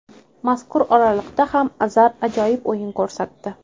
Mazkur oraliqda ham Azar ajoyib o‘yin ko‘rsatdi.